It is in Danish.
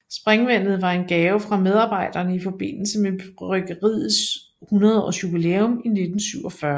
Springvandet var en gave fra medarbejderne i forbindelse med bryggeriets 100 års jubilæum i 1947